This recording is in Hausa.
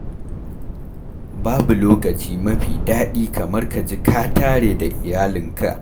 Babu lokaci mafi daɗi kamar ka ji ka tare da iyalanka